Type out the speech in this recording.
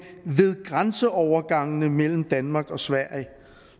ved grænseovergangene mellem danmark og sverige